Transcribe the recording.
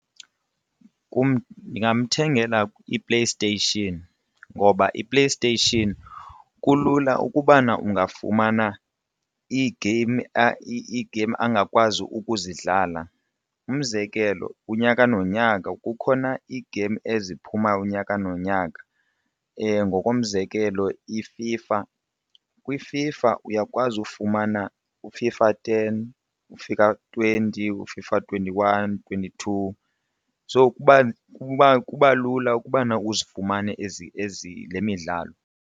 Kum ndingamthengela iPlayStation ngoba iPlayStation kulula ukubana ungafumana iigeyimu ii-geyimu angakwazi ukuzidlala umzekelo unyaka nonyaka kukhona iigeyimu eziphuma unyaka nonyaka, ngokomzekelo iFIFA. KwiFIFA uyakwazi ufumana uFIFA ten, uFIFA twenty, uFIFA twenty-one, twenty-two ufika. So kuba lula ukubana uzifumane ezi le midlalo.